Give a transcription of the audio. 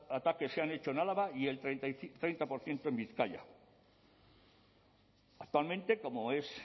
ataques se han hecho en álava y el treinta por ciento en bizkaia actualmente como es